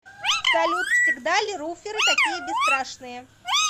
салют всегда ли руферы такие бесстрашные